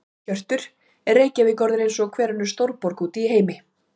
Hjörtur: Er Reykjavík orðin eins og hver önnur stórborg út í heimi?